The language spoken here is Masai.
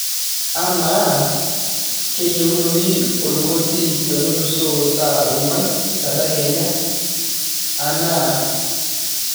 amaa kaayieunoyu orkoti tenelusoo saa ong'uan tedekenya anaa a a